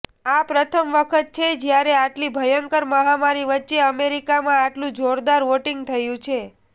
આ પ્રથમ વખત છે જ્યારે આટલી ભયંકર મહામારી વચ્ચે અમેરિકામાં આટલુ જોરદાર વોટિંગ થયુ છે